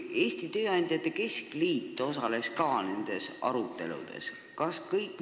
Eesti Tööandjate Keskliit osales ka aruteludes selle üle.